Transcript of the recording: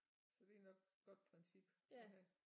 Så det er nok godt princip at have